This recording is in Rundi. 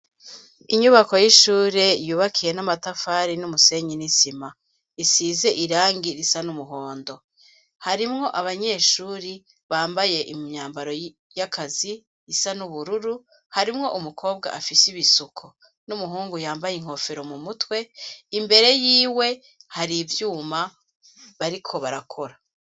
Inyubako y'ishure yubakiye n'amatafari n'umusenyi n'isima isize irangi risa n'umuhondo, harimwo abanyeshuri bambaye imyambaro yakazi isa n'ubururu harimwo umukobwa afise ibisuko n'umuhungu yambaye inkofero mu mutwe imbere yiwe hari ivyuma bariko barakora.